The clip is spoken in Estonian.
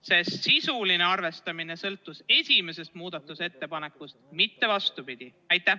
Kas sisuline arvestamine sõltus esimesest muudatusettepanekust, mitte vastupidi?